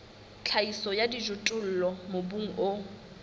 tlhahiso ya dijothollo mobung o